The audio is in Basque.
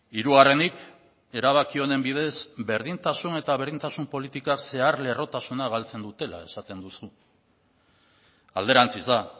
hirugarrenik erabaki honen bidez berdintasun eta berdintasun politika zeharlerrotasuna galtzen dutela esaten duzu alderantziz da